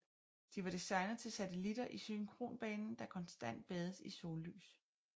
De var designet til satellitter i synkronbanen der konstant bades i sollys